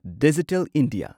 digital India